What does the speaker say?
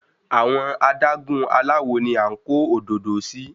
Àwọn adágún aláwo ni à ń kó òdòdó sí.